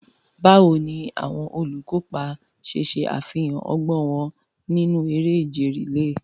Báwo ni àwọn olùkópa ṣe ṣe àfihàn ọgbọ́n wọn nínú eré ìje rìléè?